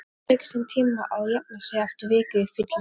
Það tekur sinn tíma að jafna sig eftir viku fyllerí